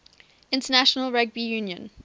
international rugby union